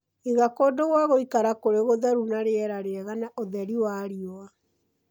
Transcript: Iga kũndũ gwa gwĩkara kũrĩ gũtheru na rĩera rĩega na ũtheri wa riua.